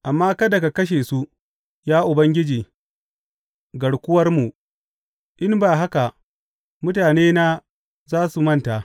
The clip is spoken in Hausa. Amma kada ka kashe su, ya Ubangiji garkuwarmu, in ba haka mutanena za su manta.